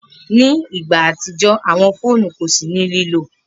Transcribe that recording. Ni igba atijọ awọn fóònù ko si ni lilo.